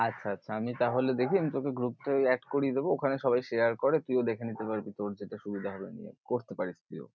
আচ্ছা আচ্ছা আমি তাহলে দেখি আমি তোকে group এ ঐ add করিয়ে দেবো, ঐখানে সবাই share করে তুই ও সেখানে দেখে নীতে পারবি তোর যেটা সুবিধা হবে করতে পারিশ তুই ও।